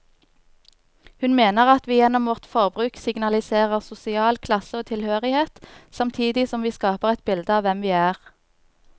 Hun mener at vi gjennom vårt forbruk signaliserer sosial klasse og tilhørighet, samtidig som vi skaper et bilde av hvem vi er.